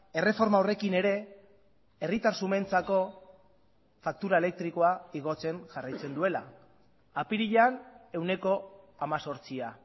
erreforma horrekin ere herritar xumeentzako faktura elektrikoa igotzen jarraitzen duela apirilean ehuneko hemezortzia